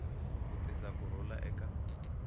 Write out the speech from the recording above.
ku tisa ku rhula eka